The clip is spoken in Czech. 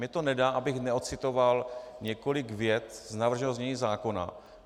Mně to nedá, abych neocitoval několik vět z navrženého znění zákona.